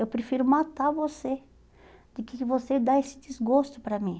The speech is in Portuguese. Eu prefiro matar você do que que você dar esse desgosto para mim.